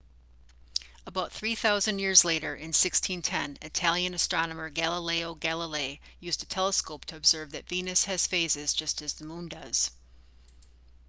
about three thousand years later in 1610 italian astronomer galileo galilei used a telescope to observe that venus has phases just as the moon does